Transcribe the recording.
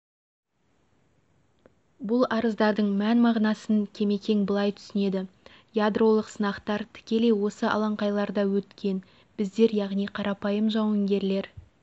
бұл арыздардың мән-мағынасын кемекең былай түсінеді ядролық сынақтар тікелей осы алаңқайларда өткен біздер яғни қарапайым жауынгерлер